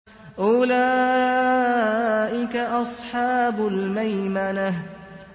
أُولَٰئِكَ أَصْحَابُ الْمَيْمَنَةِ